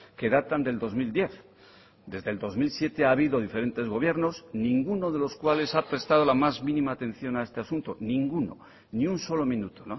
que datan del dos mil diez desde el dos mil siete ha habido diferentes gobiernos ninguno de los cuales ha prestado la más mínima atención a este asunto ninguno ni un solo minuto